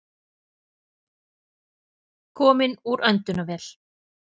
Kominn úr öndunarvél